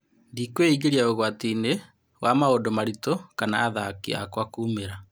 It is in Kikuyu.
Ndikũingĩria ũgwati-inĩ wa maũndũ maritũ kana athaki akwa kũũmĩra."